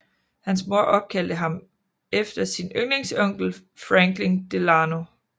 Hans mor opkaldte ham efter sin yndlingsonkel Franklin Delano